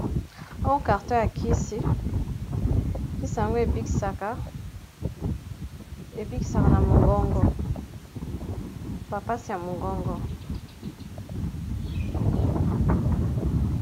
Oyo carton ya kisi, kisa ango ebikisaka ebikisaka na mongongo ba pasi ya mongongo.